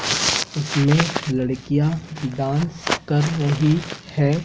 इसमें लड़कियां डांस कर रही हैं।